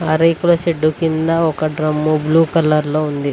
ఆ రేకుల షెడ్డు కింద ఒక డ్రమ్ము బ్లూ కలర్ లో ఉంది.